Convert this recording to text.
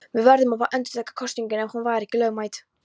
Verður þá að endurtaka kosninguna ef hún var ekki lögmæt.